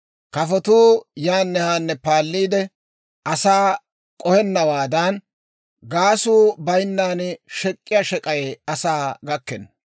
Kafotuu yaanne haanne paalliide, asaa k'ohennawaadan, gaasuu bayinnan shek'k'iyaa shek'ay asaa gakkenna.